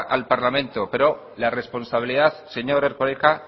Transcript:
al parlamento pero la responsabilidad señor erkoreka